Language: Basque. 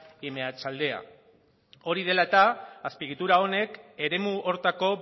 y meatzaldea hori dela eta azpiegitura honek eremu horretako